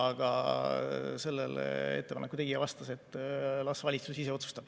Aga selle ettepaneku tegija vastas, et las valitsus ise otsustab.